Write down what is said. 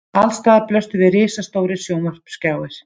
Alls staðar blöstu við risastórir sjónvarpsskjáir